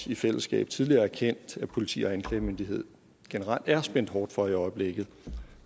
i fællesskab tidligere erkendt at politi og anklagemyndighed generelt er spændt hårdt for i øjeblikket